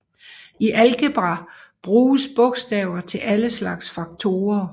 I algebra bruges bogstaver til alle slags faktorer